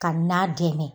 Ka na dɛmɛ